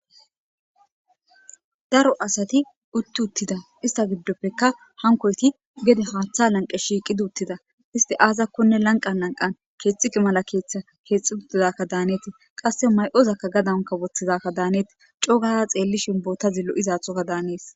Daro asati utti uttida isitta gidoppekka hanikoyiti gede haththa laniqe shiqidi uttida .isitti azakonee laniqanni laniqanni kexiqe mala kexxi uttidakka Hanes .qase ma'ozakka gadanni woththidadakani hanetess.coo gada xeelishinn botazzi lo'izaththogadani haness.